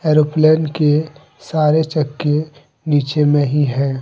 Aeroplane के सारे चक्के नीचे में ही है।